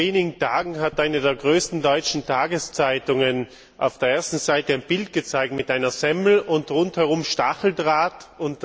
Vor wenigen Tagen hat eine der größten deutschen Tageszeitungen auf der ersten Seite ein Bild mit einer Semmel und rundherum Stacheldraht gezeigt.